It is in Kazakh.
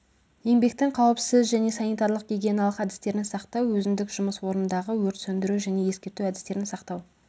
еңбектің қауіпсіз және санитарлық гигиеналық әдістерін сақтау өзіндік жұмыс орындағы өрт сөндіру және ескерту әдістерін сақтау